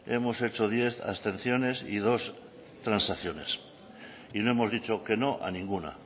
hemos hecho diez abstenciones y dos transacciones y no hemos dicho que no a ninguna